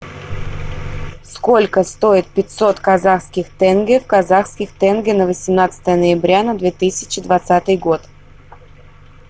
сколько стоит пятьсот казахских тенге в казахских тенге на восемнадцатое ноября на две тысячи двадцатый год